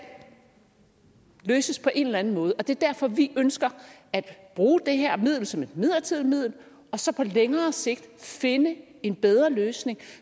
løses på en eller anden måde og det er derfor vi ønsker at bruge det her middel som et midlertidigt middel og så på længere sigt finde en bedre løsning